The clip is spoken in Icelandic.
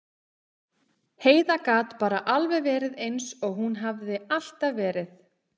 Heiða gat bara alveg verið eins og hún hafði alltaf verið.